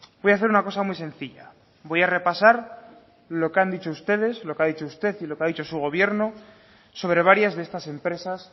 voy a hacer una cosa muy sencilla voy a repasar lo que han dicho ustedes lo que ha dicho usted y lo que ha dicho su gobierno sobre varias de estas empresas